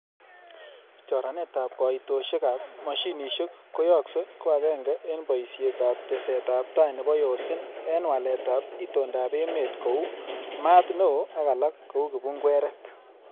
Choranet ab koitoshek ab mashinishiek koyookse ko agenge en boisiet ab tesetab tai nebo yosin en walet ab itondob ab emet kou maat neo alak ko kipungweret.